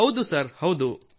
ಹೌದು ಸರ್ ಹೌದು